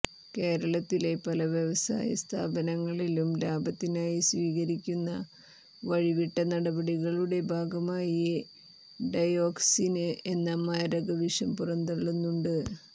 കേരളത്തിലെ പലവ്യവസായ സ്ഥാപനങ്ങളും ലാഭത്തിനായി സ്വീകരിക്കുന്ന വഴിവിട്ട നടപടികളുടെ ഭാഗമായി ഡയോക്സിന് എന്ന മാരക വിഷം പുറന്തള്ളുന്നുണ്ട്